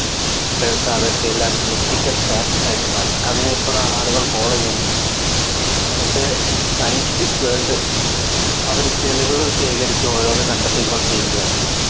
ഇപ്പോഴത്തെ അതൊക്കെ എല്ലാം Methical facts ആയിട്ട് മാറി അത്നെ പ്പോ ഇതാ ആളുകൾ Follow ചെയ്യുന്നുണ്ട് പക്ഷേ Scientific world അവര് തെളിവുകൾ ശേഖരിച്ചു ഓരോന്ന് കണ്ടെത്തി കൊണ്ടിരിക്കുകയാണ്